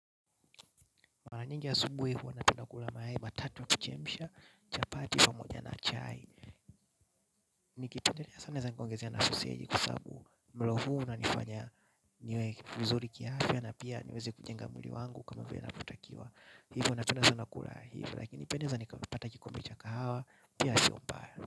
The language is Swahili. Mara nyingi asubuhi huwa napenda kula mayai matatu ya kuchemsha, chapati pamoja na chai. Nikipendelea sana naweza nkaongezea na soseji kwa sabu mlo huu unanifanya niwe vizuri kiaafya na pia niweze kujenga mwili wangu kama vile inavotakiwa. Hivyo naoenda sana kula hivyo lakini pia naweza nikapata kikombe cha kahawa pia sio mbaya.